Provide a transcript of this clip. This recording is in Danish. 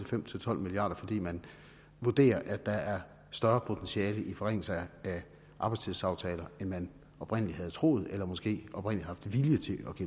fem til tolv milliard kr fordi man vurderer at der er større potentiale i forringelser af arbejdstidsaftaler end man oprindelig havde troet eller måske oprindelig havde haft